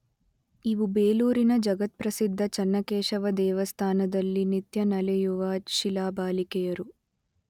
ಇವು ಬೇಲೂರಿನ ಜಗತ್ಪ್ರಸಿದ್ಧ ಚನ್ನಕೇಶವ ದೇವಸ್ಥಾನದಲ್ಲಿ ನಿತ್ಯ ನಲಿಯುವ ಶಿಲಾಬಾಲಿಕೆಯರು.